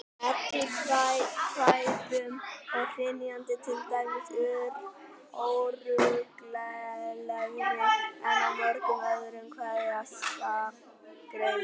Í eddukvæðum er hrynjandi til dæmis óreglulegri en í mörgum öðrum kveðskapargreinum.